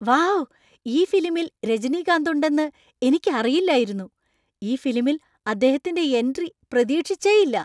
Wow ! ഈ ഫിലിമിൽ രജനികാന്ത് ഉണ്ടെന്ന് എനിക്കറിയില്ലായിരുന്നു. ഈ ഫിലിമിൽ അദ്ദേഹത്തിന്‍റെ എൻട്രി പ്രതീക്ഷിച്ചെയ്യില്ല.